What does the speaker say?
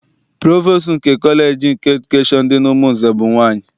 Provostu nke kọleji nke edukeshọn dị n'Umunze bụ nwaanyị.